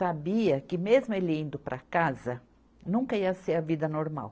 Sabia que mesmo ele indo para casa, nunca ia ser a vida normal.